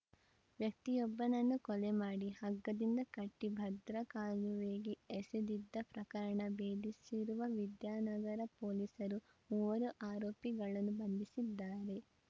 ವ್ಯಕ್ತಿಯೊಬ್ಬನನ್ನು ಕೊಲೆ ಮಾಡಿ ಹಗ್ಗದಿಂದ ಕಟ್ಟಿಭದ್ರಾ ಕಾಲುವೆಗೆ ಎಸೆದಿದ್ದ ಪ್ರಕರಣ ಬೇಧಿಸಿರುವ ವಿದ್ಯಾನಗರ ಪೊಲೀಸರು ಮೂವರು ಆರೋಪಿಗಳನ್ನು ಬಂಧಿಸಿದ್ದಾರೆ